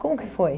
Como que foi?